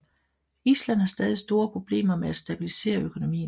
Island har stadig store problemer med at stabilisere økonomien